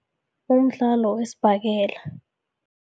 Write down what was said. Umdlalo wesibhakela.